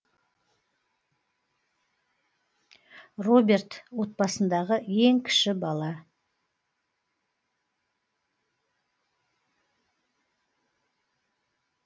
роберт отбасындағы ең кіші бала